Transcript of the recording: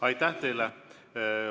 Aitäh teile!